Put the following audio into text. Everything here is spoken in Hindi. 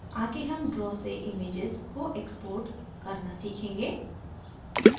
आगे हम draw से images को export करना सीखेंगे